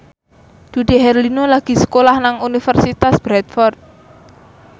Dude Herlino lagi sekolah nang Universitas Bradford